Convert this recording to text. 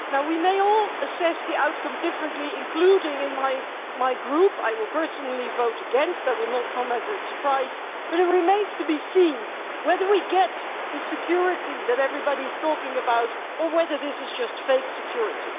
Now we may all assess the outcome differently, including in my Group I will personally vote against, that will not come as a surprise but it remains to be seen whether we get the security that everybody is talking about, or whether this is just fake security.